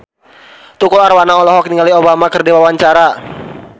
Tukul Arwana olohok ningali Obama keur diwawancara